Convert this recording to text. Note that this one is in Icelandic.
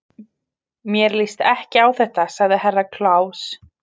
Mér líst ekki á þetta, sagði Herra Kláus.